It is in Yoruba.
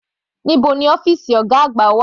Níbo ni ọ́fìsì ọ̀gá àgbà wà?